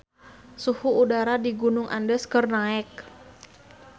Suhu udara di Gunung Andes keur naek